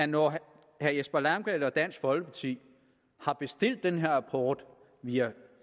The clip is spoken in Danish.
når herre jesper langballe og dansk folkeparti har bestilt den her rapport via